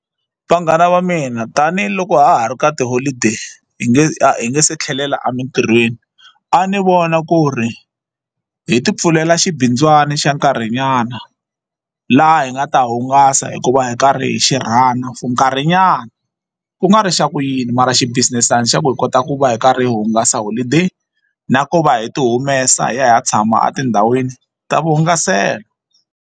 Vanghana va mina tanihiloko ha ha ri ka tiholideyi hi nge hi nge se tlhelela emintirhweni a ni vona ku ri hi ti pfulela xibindzwana xa nkarhinyana laha hi nga ta hungasa hikuva hi karhi hi xi runner for nkarhinyana ku nga ri xa ku yini mara xi business-ana xa ku hi kota ku va hi karhi hi hungasa holideyi na ku va hi ti humesa hi ya hi ya tshama etindhawini ta vuhungaselo.